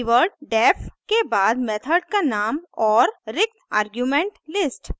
keyword def के बाद method का नाम और रिक्त आर्गुमेंट लिस्ट